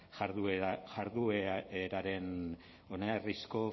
jardueraren oinarrizko